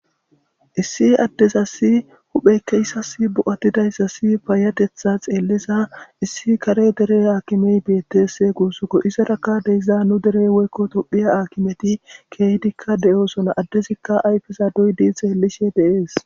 issi addezassi hupheykka izassi bo'atidayssasi paayatetha xeellisa issi kare dere aakimey betees guussakko izarakka de'iza nu derey woykko tophiya aakimeti keehidikka de'oosona addezikka ayfesa doyyidii xelishe de'ees